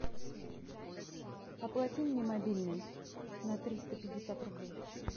оплати мне мобильный на триста пятьдесят рублей